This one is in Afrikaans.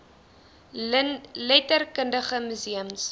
letter kundige museums